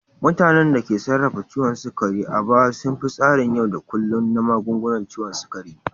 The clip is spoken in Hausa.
Mutanen da ke sarrafa ciwon sukari a baya sun bi tsarin yau da kullun na magungunan ciwon sukari.